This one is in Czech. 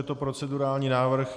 Je to procedurální návrh.